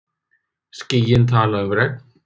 Skýin tala um regn.